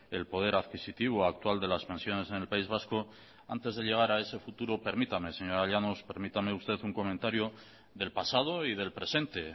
el poder adquisitivo actual de las pensiones en el país vasco antes de llegar a ese futuro permítame señora llanos permítame usted un comentario del pasado y del presente